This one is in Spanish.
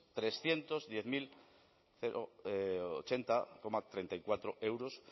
trescientos diez mil ochenta coma treinta y cuatro euros